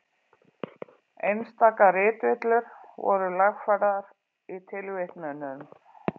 Einstaka ritvillur voru lagfærðar í tilvitnunum.